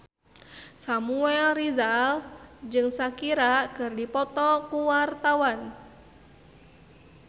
Samuel Rizal jeung Shakira keur dipoto ku wartawan